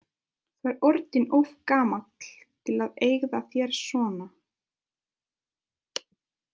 Þú ert orðinn of gamall til að hegða þér svona.